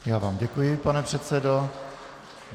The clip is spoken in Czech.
Já vám děkuji, pane předsedo.